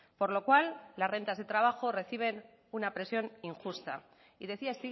por lo cual las rentas de trabajo reciben una presión injusta y decía